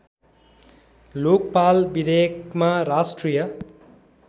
लोकपाल विधेयकमा राष्ट्रिय